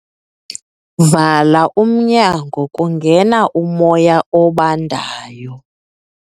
Vala umnyango kungena umoya obandayo.